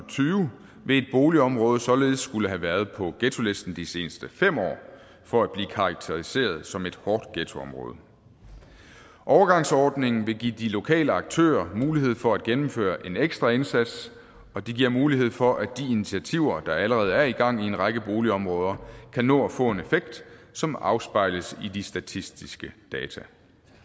tyve vil et boligområde således skulle have været på ghettolisten de seneste fem år for at blive karakteriseret som et hårdt ghettoområde overgangsordningen vil give de lokale aktører mulighed for at gennemføre en ekstra indsats og det giver mulighed for at de initiativer der allerede er i gang i en række boligområder kan nå at få en effekt som afspejles i de statistiske data